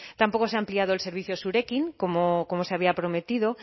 tampoco se ha ampliado el servicio zurekin como se había prometido